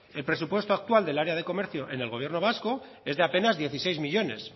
el presupuesto actual del área de comercio en el gobierno vasco es de apenas dieciséis millónes